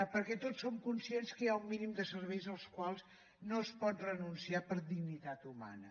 perquè tots som conscients que hi ha un mínim de serveis als quals no es pot renunciar per dignitat humana